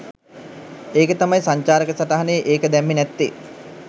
ඒක තමයි සංචාරක සටහනේ ඒක දැම්මේ නැත්තේ.